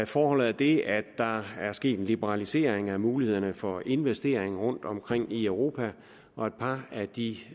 forholdet er det at der er sket en liberalisering af mulighederne for investering rundtomkring i europa og et par af de